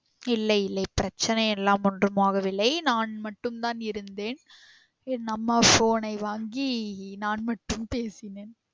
இல்லை இல்லை பிரச்சனை எல்லாம் ஒன்றும் ஆக வில்லை நான் மட்டும் தான் இருந்தேன் என் அம்மா phone ஐ வாங்கி நான் மட்டும் பேசினேன்